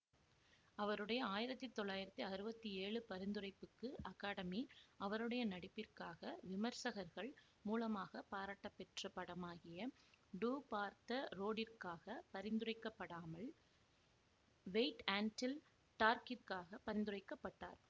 அவருடைய ஆயிரத்தி தொள்ளாயிரத்தி அறுவத்தி ஏழு பரிந்துரைப்புக்கு அகாடமி அவருடைய நடிப்பிற்காக விமர்சகர்கள் மூலமாக பாராட்டப்பெற்ற படமாகிய டூ ஃபார் த ரோடிற்காக பரிந்துரைக்கப்படமால் வெய்ட் அண்டில் டார்க்கிற்காக பரிந்துரைக்க பட்டார்